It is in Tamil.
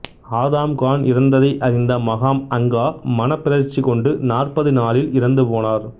ஆதாம் கான் இறந்ததை அறிந்த மகாம் அங்கா மனப்பிறழ்ச்சிக் கொண்டு நாற்பது நாளில் இறந்து போனார்